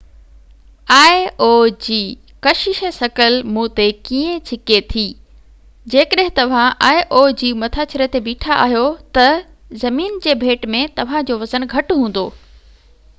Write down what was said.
آئي او جي ڪشش ثقل مون تي ڪيئن ڇڪي ٿي جيڪڏهن توهان آئي او جي مٿاڇري تي بيٺا آهيو ته زمين جي ڀيٽ ۾ توهانجو وزن گهٽ هوندو